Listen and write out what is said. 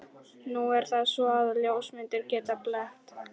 Nú er það svo, að ljósmyndir geta blekkt.